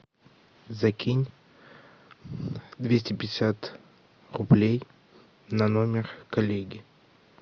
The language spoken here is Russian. закинь двести пятьдесят рублей на номер коллеги